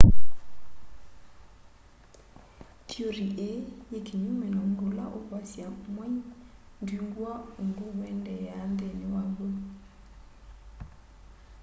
theory ii yi kinyume na undu ula ukwasya mwai ndwingwa undu uendeea nthini waw'o